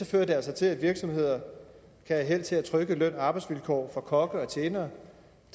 fører det altså til at virksomheder kan have held til at trykke løn og arbejdsvilkår for kokke og tjenere